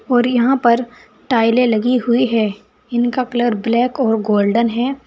और यहां पर टाॅयले लगी हुई है इनका कलर ब्लैक और गोल्डन है।